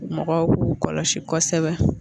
Mɔgɔw k'u kɔlɔsi kosɛbɛ